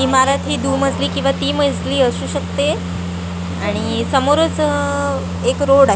इमारती दू मजली किंवा ती मजली असू शकते आणि समोरच अह एक रोड आहे.